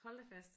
Hold da fast